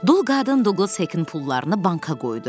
Dul qadın Duqlas Hekin pullarını banka qoydu.